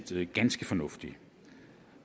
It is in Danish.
set ganske fornuftigt